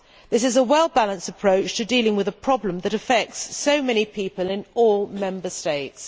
This is a well balanced approach to dealing with a problem which affects so many people in all Member States.